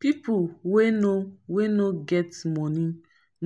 pipo wey no wey no get money